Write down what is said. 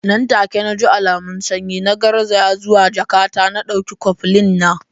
Nan take naji alamun sanyi, na garzaya zuwa jakata na dauki koflin na.